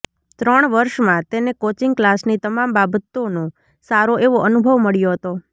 ત્રણ વર્ષમાં તેને કોચિંગ કલાસની તમામ બાબતોનો સારો એવો અનુભવ મળ્યો હતો